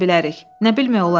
Nə bilmək olar?